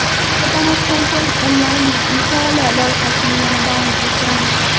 Qisqa tanaffusdan so‘ng onlayn mutolaa loyihasini yana davom ettiramiz.